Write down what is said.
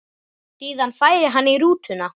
Síðan færi hann í rútuna.